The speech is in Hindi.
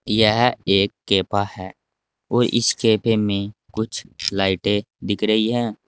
यह एक केपा है और इस कैफे में कुछ लाइटें दिख रही हैं।